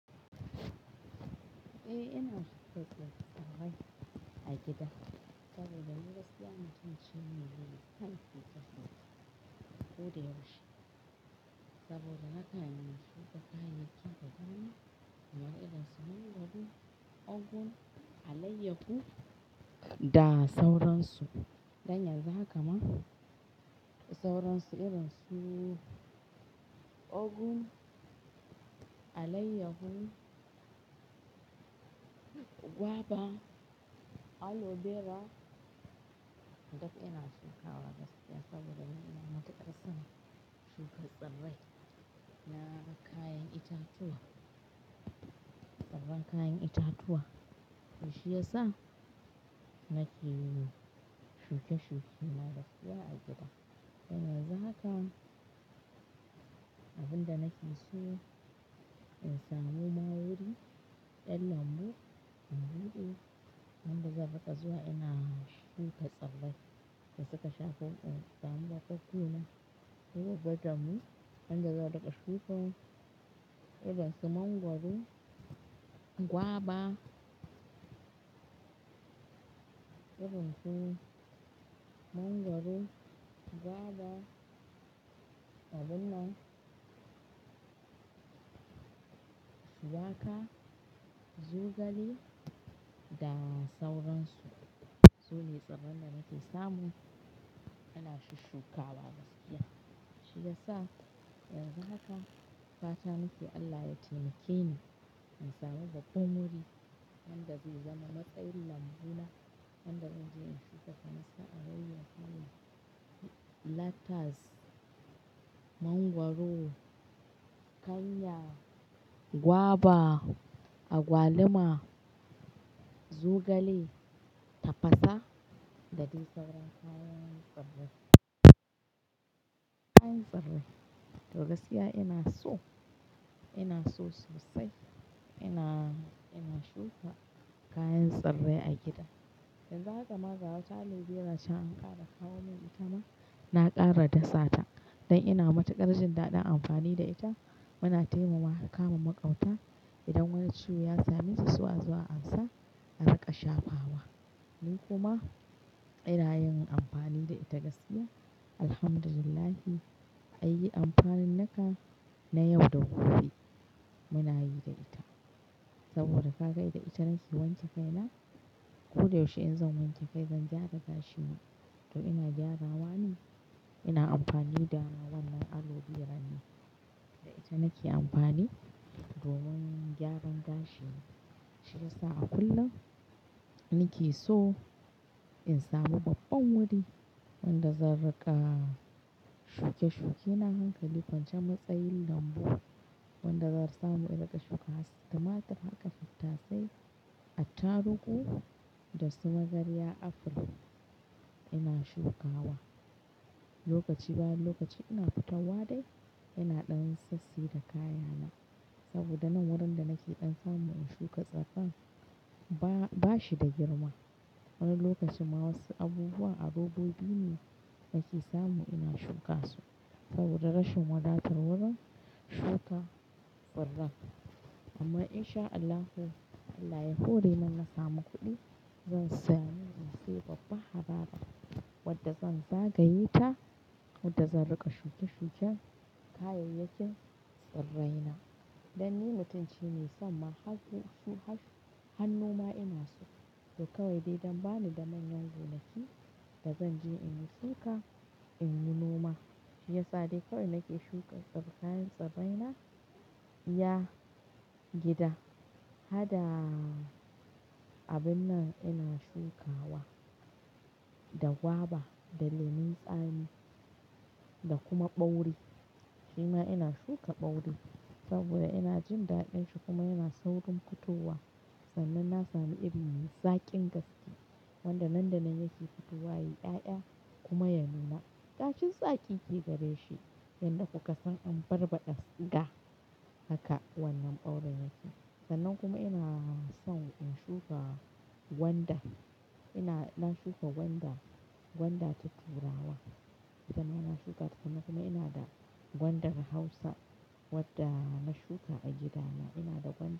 Eh ina shuka wasu kayan a gida saboda ni gaskiya na tashi cikin rana kullum ko da yaushe saboda nakan yi shuka kayayyakin da zan iya samun gwangwani a layyahu da sauransu. Dan yanzu haka ma, da sauransu irin su ogu, alayyahu, gwaba, aloe vera, duk ina shukawa gaskiya saboda ni na fi matukar son shuka tsirrai na da kayan itatuwa tsiran kayan itatuwa shiyasa nake shuke-shuke na gasuwa a gida. Yanzu haka abin da nake so in samu ma wuri na lambu, lambu. Lambu zata zo a ina shuka tsirrai da suka shafa kan samu bakuna. Duba damu, anjima za ka shuka irin sun mangwaro, gwaba, irin su mangwaro, gwaba, abin nan, shuwaka, zugali da sauransu sune tsiran da nake samu ana shi shukawa gaskiya. Shiyasa yanzu haka fata nake Allah ya taimake ni in samu babban wuri wanda zai zama matsayin lambuna wanda zan je in shuka kanasa, alayyahu, lettuce, mangwaro, kanya, gwaba, agwaluma, zugali, tafasa da dai saurayen kayan tsirrai. Kayan tsirrai, toh gaskiya ina so, ina so sosai, ina, ina shuka kayan tsirrai a gida. Yanzu haka ma gawata aleo vera can aka kawo min ita ma na ƙara dasa ta dan ina matuƙar jin daɗin amfani da ita. Muna taimawa kama maƙauta idan wani ciwo ya same su, sai a zo ansa an riƙa shafa wa. Ni kuma ina yin amfani da ita gaskiya. Alhamdulillah an yi amfanin naka, na yau da gobe muna yi da ita saboda ka ga da ita naki wanke kai na. Ko da yaushe in zan wanke kai zan gyara gashina to ina gyarawa ne. Ina amfani da wannan aleo vera ne da ita nake amfani domin gyaran gashina. Shiyasa a kullum nake so in samu babban wuri wanda zan riƙa, shuke-shuke. Na hankali wancan matsayin lambu wanda zan samu in riƙa shuka haske. Kamar hada tattasai, attarugu da su magarya, aful ina shukawa. Lokaci bayan lokaci ina fitowa dai ina ɗan sassi da kayana saboda nan wurin da nake ɗan samu in shuka tsafan ba shi da girma. Wani lokacin ma wasu abubuwa a robobi ne nake samu ina shuka su saboda rashin wadatar wurin shuka tsirrain. Amma in sha Allahu Allah ya hore nan na samu kuɗi zan saya mini masifa babban harabar wadda zan zagaye ta wadda zan riƙa shuke-shuken kayayyakin tsirraina. Dan ni mutunci ne san ma haihu su haihu hannu ma ina so to kawai dai don bani da manyan gonaki da zan je in yi shuka in yi noma. Shiyasa dai kawai nake shuka tsirran kayan tsirraina iya gida. Hada abin nan ina shukawa da gwaba, da lemun tsami da kuma ɓauri. Shi ma ina shuka ɓauri saboda ina jin daɗin shi kuma yana saurin fitowa sannan na sami iri zakin gaske wanda nan da nan yake fitowa yayi ya-iya kuma ya nuna ɗakin zakin ke gare shi yanda kuka san an barbaɗa siga haka wannan ɓauri yake. Sannan kuma ina son in shuka gwanda. Ina, na shuka gwanda, gwanda ta turawa. Ita ma ina shuka ta kuma kuma ina da gwandar Hausa wadda na shuka a gidana. Ina da gwan.